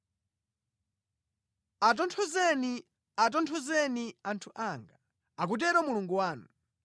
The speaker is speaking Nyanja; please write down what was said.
Atonthozeni, atonthozeni anthu anga, akutero Mulungu wanu.